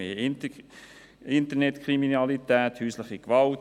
Wir haben Internetkriminalität, häusliche Gewalt.